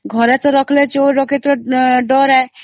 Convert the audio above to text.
ଘରେ ତ ରଖିଲେ ଚୋର ଡକାୟତ ଡର